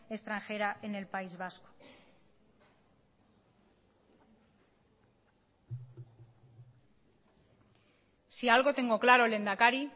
extranjera en el país vasco si algo tengo claro lehendakari